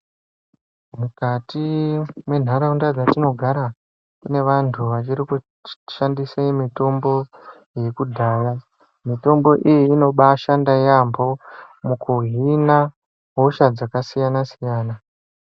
Mukati mwenharaunda dzatinogara kune vantu vachiri kushandise mitombo yekudhaya. Mitombo iyi inobashanda yaamho mukuhina hosha dzakasiyana-siyana.